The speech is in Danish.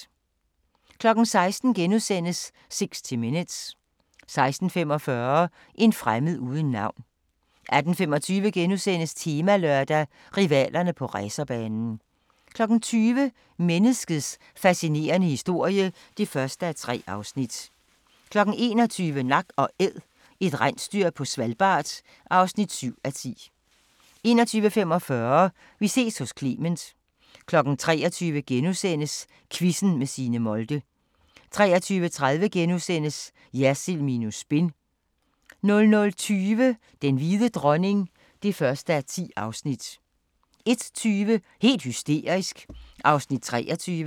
16:00: 60 Minutes * 16:45: En fremmed uden navn 18:25: Temalørdag: Rivalerne på racerbanen * 20:00: Menneskets fascinerende historie (1:3) 21:00: Nak & Æd – et rensdyr på Svalbard (7:10) 21:45: Vi ses hos Clement 23:00: Quizzen med Signe Molde * 23:30: Jersild minus spin * 00:20: Den hvide dronning (1:10) 01:20: Helt hysterisk (23:32)